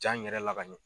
Ja in yɛrɛ la ka ɲɛ